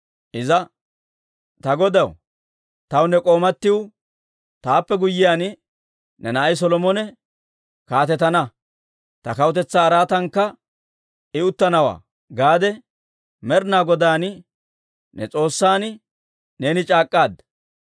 Iza, «Ta godaw, taw ne k'oomatiw, ‹Taappe guyyiyaan ne na'ay Solomone kaatetana; ta kawutetsaa araatankka I uttanawaa› gaade Med'inaa Godaan, ne S'oossan, neeni c'aak'k'aadda.